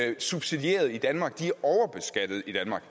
er subsidierede i danmark de er overbeskattet i danmark